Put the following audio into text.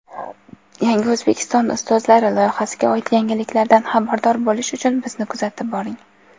"Yangi O‘zbekiston ustozlari" loyihasiga oid yangiliklardan xabardor bo‘lish uchun bizni kuzatib boring!.